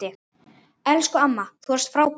Elsku amma, þú varst frábær.